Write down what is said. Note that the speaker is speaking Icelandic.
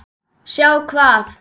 Sjá hvað?